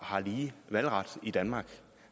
har lige valgret i danmark det